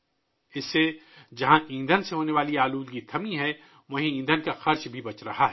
اس کی وجہ سے جہاں ایندھن سے ہونے والی آلودگی رک گئی ہے ، وہیں ایندھن کی قیمت میں بھی بچت ہوئی ہے